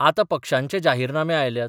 आतां पक्षांचे जाहीरनामे आयल्यात.